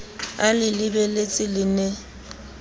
a le lebeletse le ne